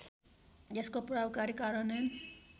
यसको प्रभावकारी कार्यान्वयन